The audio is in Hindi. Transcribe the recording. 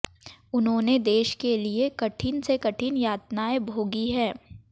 उन्होंने देश के लिए कठिन से कठिन यातनाएं भोगी है